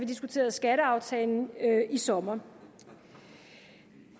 diskuterede skatteaftalen i sommer